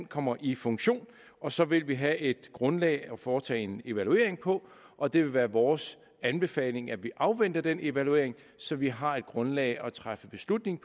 kommer i funktion og så vil vi have et grundlag at foretage en evaluering på og det vil være vores anbefaling at vi afventer den evaluering så vi har grundlag for at træffe beslutningen